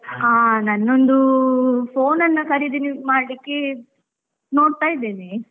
ಹಾ ನಂದೊಂದು, phone ಅನ್ನ ಖರೀದಿ ಮಾಡ್ಲಿಕ್ಕೆ, ನೋಡ್ತಾ ಇದ್ದೇನೆ.